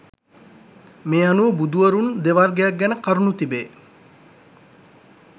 මේ අනුව බුදුවරුන් දෙවර්ගයක් ගැන කරුණු තිබේ